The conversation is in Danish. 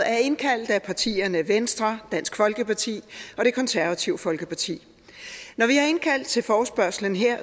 er indkaldt af partierne venstre dansk folkeparti og det konservative folkeparti når vi har indkaldt til forespørgslen her